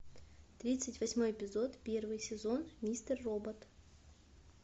тридцать восьмой эпизод первый сезон мистер робот